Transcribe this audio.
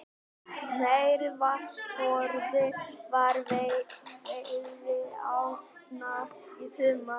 Meiri vatnsforði fyrir veiðiárnar í sumar